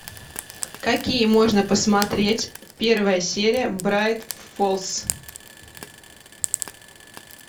какие можно посмотреть первая серия брайт фоллс